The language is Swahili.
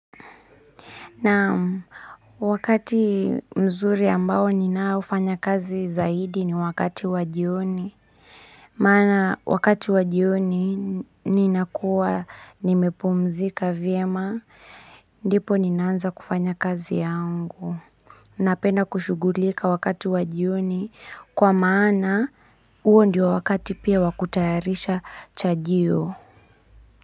Namu Wakati mzuri ambao ninaufanya kazi zaidi ni wakati wajioni maana wakati wajioni ninakua nimepumzika vyema ndipo ninaanza kufanya kazi yangu Napenda kushugulika wakati wajioni kwa maana uo ndio wakati pia wakutayarisha chajioni.